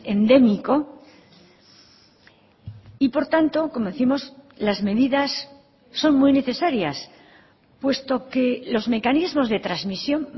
endémico y por tanto como décimos las medidas son muy necesarias puesto que los mecanismos de transmisión